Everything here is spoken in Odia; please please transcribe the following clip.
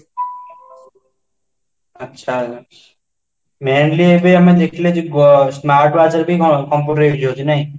ଆଚ୍ଛା mainly ଏବେ ଆମେ ଦେଖିଲେ ଯୋଉ smart watch computer ଇଏ ହଉଚି ନାହିଁ?